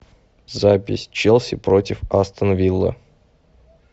запись челси против астон виллы